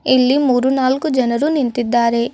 ಇಲ್ಲಿ ಮೂರು ನಾಲ್ಕು ಜನರು ನಿಂತಿದ್ದಾರೆ.